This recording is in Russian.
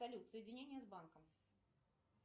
салют соединение с банком